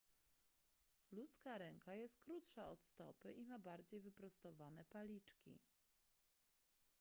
ludzka ręka jest krótsza od stopy i ma bardziej wyprostowane paliczki